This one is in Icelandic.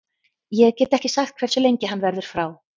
Ég get ekki sagt hversu lengi hann verður frá.